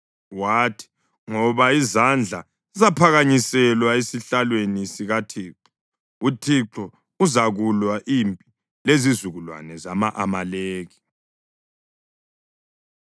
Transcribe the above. Wathi, “Ngoba izandla zaphakanyiselwa esihlalweni sikaThixo. UThixo uzakulwa impi lezizukulwane zama-Amaleki.”